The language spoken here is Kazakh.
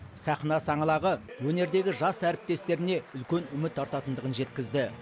сахна саңлағы өнердегі жас әріптестеріне үлкен үміт артатындығын жеткізді